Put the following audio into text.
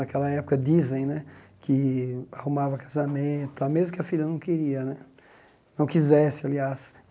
Naquela época, dizem né que arrumava casamento, mesmo que a filha não queria né não quisesse, aliás.